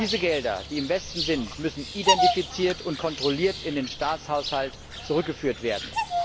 Diese Gelder, die im Westen sind, müssen identifiziert und kontrolliert in den Staatshaushalt zurückgeführt werden.